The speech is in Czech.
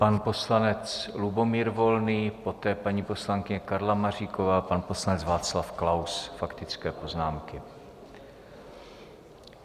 Pan poslanec Lubomír Volný, poté paní poslankyně Karla Maříková, pan poslanec Václav Klaus - faktické poznámky.